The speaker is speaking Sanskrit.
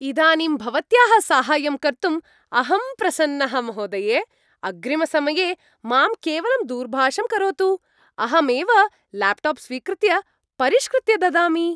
इदानीं भवत्याः साहाय्यं कर्तुम् अहं प्रसन्नः, महोदये। अग्रिमसमये मां केवलं दूरभाषं करोतु, अहमेव ल्याप्टाप् स्वीकृत्य परिष्कृत्य ददामि।